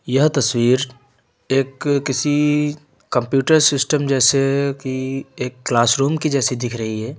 यह तस्वीर एक किसी कंप्यूटर सिस्टम जैसे कि एक क्लास रूम की जैसी दिख रही है।